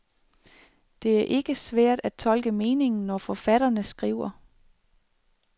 Det er ikke svært at tolke meningen, når forfatterne skriver.